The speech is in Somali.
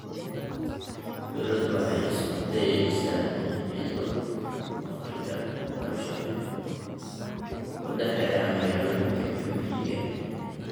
Dawladdu waxay isku dayaysaa inay xidho farqiga waxbarasho ee u dhexeeya magaalooyinka iyo miyiga.